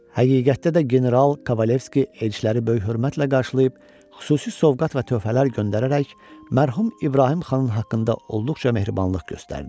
Həqiqətdə də general Kavalivski elçiləri böyük hörmətlə qarşılayıb, xüsusi sovqat və töhfələr göndərərək mərhum İbrahim xanın haqqında olduqca mehribanlıq göstərdi.